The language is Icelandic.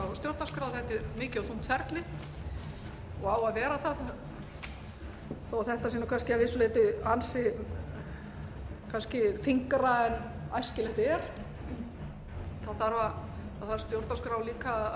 stjórnarskrá þetta er mikið og þungt ferli og á að vera það þó að þetta sé kannski að vissu leyti ansi þyngra en æskilegt er þá þarf stjórnarskrá líka